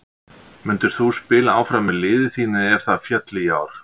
Myndir þú spila áfram með liði þínu ef það félli í ár?